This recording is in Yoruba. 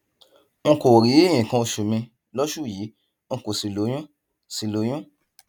n kò rí nǹkan oṣù mi lóṣù yìí n kò sì lóyún sì lóyún